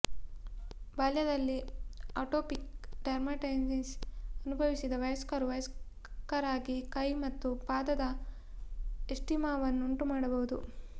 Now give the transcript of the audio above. ಬಾಲ್ಯದಲ್ಲಿ atopic dermatitis ಅನುಭವಿಸಿದ ವಯಸ್ಕರು ವಯಸ್ಕರಾಗಿ ಕೈ ಮತ್ತು ಪಾದದ ಎಸ್ಜಿಮಾವನ್ನು ಉಂಟುಮಾಡಬಹುದು